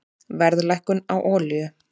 Verðlækkun á olíu